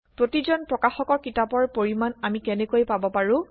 প্ৰতিজন প্ৰকাশকৰ কিতাপৰ পৰিমাণ আমি কেনেকৈ পাব পাৰোঁ